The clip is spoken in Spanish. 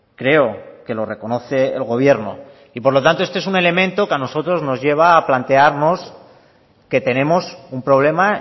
creo que lo reconoce el gobierno y por lo tanto este es un elemento que a nosotros nos lleva a plantearnos que tenemos un problema